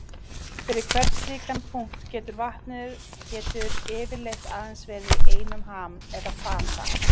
Fyrir hvern slíkan punkt getur vatnið getur yfirleitt aðeins verið í einum ham eða fasa.